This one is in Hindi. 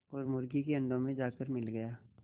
और मुर्गी के अंडों में जाकर मिल गया